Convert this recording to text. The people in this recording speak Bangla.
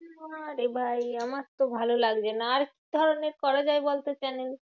না রে ভাই আমার তো ভালো লাগছেনা। আর কি ধরণের করা যায় বলতো channel এ?